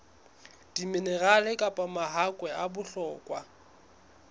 diminerale kapa mahakwe a bohlokwa